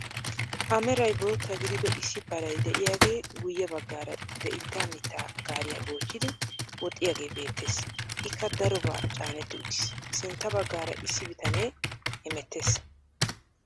A meray bootta gidiido issi paray de'iyaagee guyye baggaara de'itaa mittaa gaariyaa goochchiidi woxxiyaagee beettees. ikka darobaa caanetti uttiis. Sintta baggaara issi bitanee hemettees.